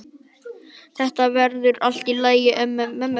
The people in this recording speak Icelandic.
Þetta verður allt í lagi mömmu vegna.